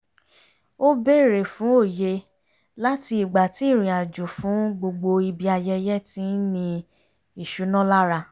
ó bèrè fún òye láti ìgbà tí ìrìn àjò fún gbogbo ibi ayẹyẹ ti ń ni ìṣúná lára